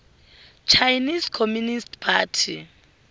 chinese communist party